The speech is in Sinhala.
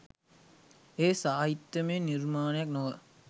එය සාහිත්‍යමය නිර්මාණයක් නොව